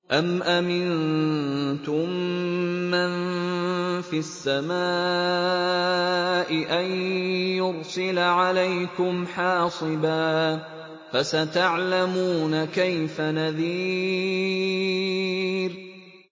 أَمْ أَمِنتُم مَّن فِي السَّمَاءِ أَن يُرْسِلَ عَلَيْكُمْ حَاصِبًا ۖ فَسَتَعْلَمُونَ كَيْفَ نَذِيرِ